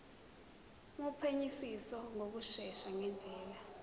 wophenyisiso ngokushesha ngendlela